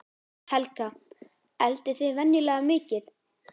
Helga: Eldið þið venjulega mikið?